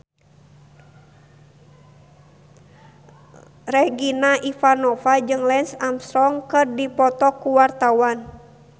Regina Ivanova jeung Lance Armstrong keur dipoto ku wartawan